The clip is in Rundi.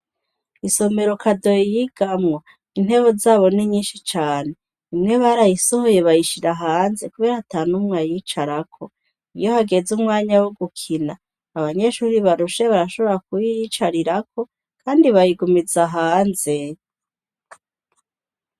Isomero Kadoyi yigamwo intebe zabo ni nyinshi cane imwe barayisohoye bayishira hanze kubera atanumwe ayicarako, iyo hageze umwanya wo gukina abanyeshuri barushe barashobora kuyicarirako kandi bayigumiza hanze.